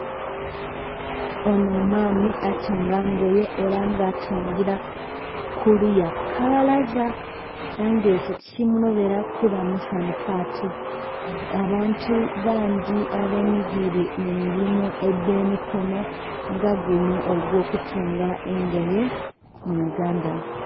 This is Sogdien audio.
Ono omwami atunga ngoye era nga atungira kuluya kukabalaza era nga ekyo tikimulobera kuba musanhufu ati, abantu bangi abenigire mumirimo edh'emikono nga guno ogw'okutunga engoye mu uganda.